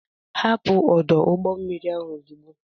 Hapụ ọdụ ụgbọ mmiri ahụ ozugbo!